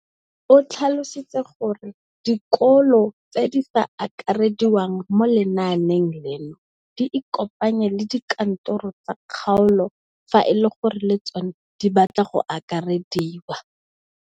O tlhalositse gore dikolo tse di sa akarediwang mo lenaaneng leno di ikopanye le dikantoro tsa kgaolo fa e le gore le tsona di batla go akarediwa.